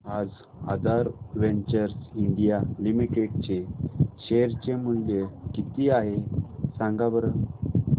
आज Aadhaar ventures India limited चे share चे मूल्य किती आहे सांगा बरं